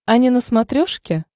ани на смотрешке